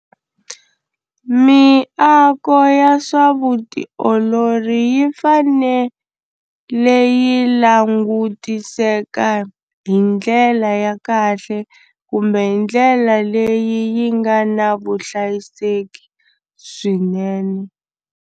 Miako ya swa vutiolori yi fanele yi langutiseka hi ndlela ya kahle kumbe hi ndlela leyi yi nga na vuhlayiseki swinene.